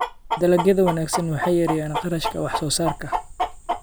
Dalagyada wanaagsan waxay yareeyaan kharashka wax soo saarka.